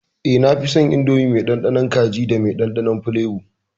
Eh, nafison Indomie mai dandanon kaji da me kanshin fulebo.